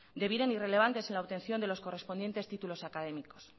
debieran irrelevantes en la obtención de los correspondientes títulos académicos